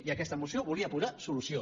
i aquesta moció volia posar hi solució